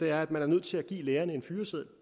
er at man er nødt til at give lærerne en fyreseddel